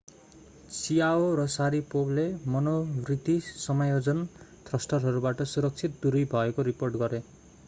chiao र sharipovले मनोवृत्ति समायोजन थ्रस्टरहरूबाट सुरक्षित दूरी भएको रिपोर्ट गरे।